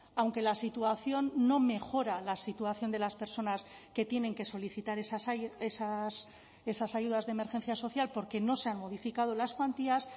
aunque la situación no mejora la situación de las personas que tienen que solicitar esas ayudas de emergencia social porque no se han modificado las cuantías